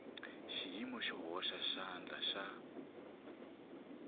xiyimo xo hoxa xandla xa